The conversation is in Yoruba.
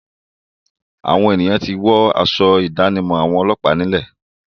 Àwọn ènìyàn ti wọ́ aṣọ ìdánimọ̀ àwọn ọlọ́pàá nílẹ̀.